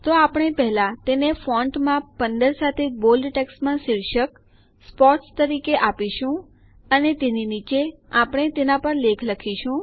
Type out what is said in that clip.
તો આપણે પહેલા તેને ફોન્ટ માપ ૧૫ સાથે બોલ્ડ જાડું લખાણ ટેક્સ્ટમાં શીર્ષક સ્પોર્ટ્સ તરીકે આપીશું અને તેની નીચે આપણે તેના પર લેખ લખીશું